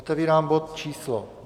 Otevírám bod číslo